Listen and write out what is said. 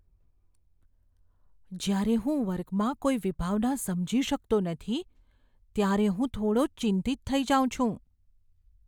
જ્યારે હું વર્ગમાં કોઈ વિભાવના સમજી શકતો નથી ત્યારે હું થોડો ચિંતિત થઈ જાઉં છું.